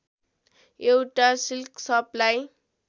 एउटा silk supply